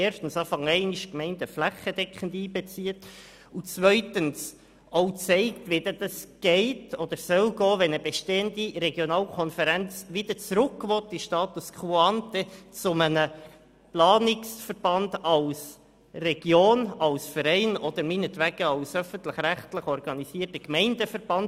Erstens sollen die Gemeinden flächendeckend einbezogen werden und zweitens soll aufgezeigt werden, wie eine bestehende Regionalkonferenz zum Status quo ante, zurück zu einem Planungsverband finden kann, als Region, als Verein oder von mir aus auch als öffentlich-rechtlicher Gemeindeverband.